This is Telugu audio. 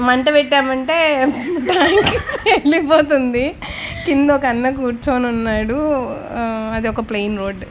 మంట పెట్టం అంటే టైమ్ కి వెలిగిపోతుంది కింద ఒక అన్న కూర్చొని ఉన్నాడు అది ఒక ప్లేన్ రోడ్ .